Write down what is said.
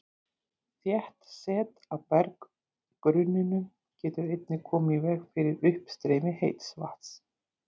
Þétt set á berggrunninum getur einnig komið í veg fyrir uppstreymi heits vatns.